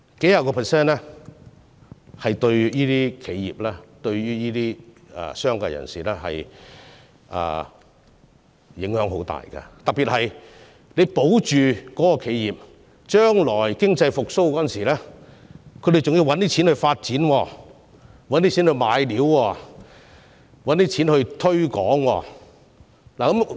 數十個百分比對企業、商界人士的影響很大，特別是將來當經濟復蘇時，獲保住的企業便需要資金來購買材料、發展和推廣業務。